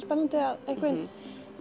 spennandi að einhvern veginn